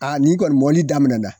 nin kɔni mɔli daminɛna.